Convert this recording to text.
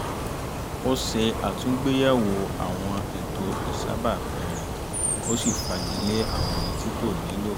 ó ṣe àtúngbéyẹ̀wo àwọn ètò ìṣàbápìn rẹ̀ ó sì fagilé àwọn èyí tí kò nílò